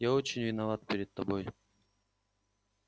я очень виноват перед тобой